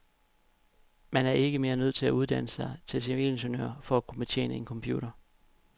Man er ikke mere nødt til at uddanne sig til civilingeniør for at kunne betjene en computer.